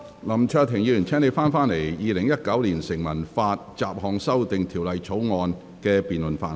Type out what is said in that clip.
林卓廷議員，請你返回《2019年成文法條例草案》二讀辯論的議題。